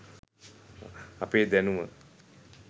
අපේ දැනුම